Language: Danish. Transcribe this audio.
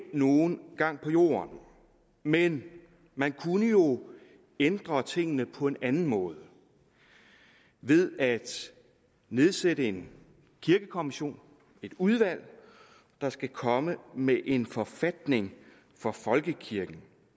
nogen gang på jorden men man kunne jo ændre tingene på en anden måde ved at nedsætte en kirkekommission et udvalg der skal komme med en forfatning for folkekirken